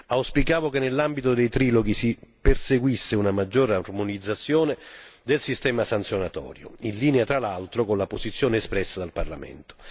Auspicavo che nell'ambito dei triloghi si perseguisse una maggiore armonizzazione del sistema sanzionatorio in linea, tra l'altro, con la posizione espressa dal Parlamento.